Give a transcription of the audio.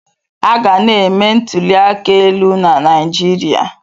Aga na-eme ntuli aka elu na Naịjirịa.